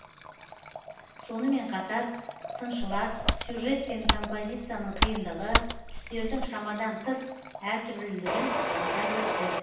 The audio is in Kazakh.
сонымен қатар сыншылар сюжет пен композицияның қиындығы түстердің шамадан тыс әртүрлілігін атап өтті